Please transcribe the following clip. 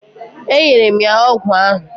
E nyere m ya ọgwụ ahụ.